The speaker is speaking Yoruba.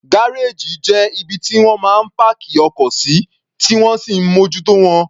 Gárèjì jẹ́ ibi tí wọ́n máa ń páàkì ọkọ̀ sí, tí wọ́n sì ń mójútó wọn.